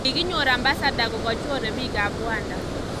Kikinyor Ambassada kokachoree piik ab Rwanda